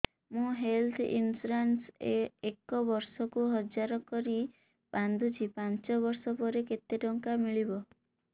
ମୁ health insurance ଏକ ବର୍ଷକୁ ହଜାର କରି ବାନ୍ଧୁଛି ପାଞ୍ଚ ବର୍ଷ ପରେ କେତେ ଟଙ୍କା ମିଳିବ